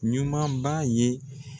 Ɲuman ba ye.